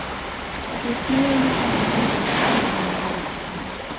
осыны ойлағанда еріксіз жанарға жас келеді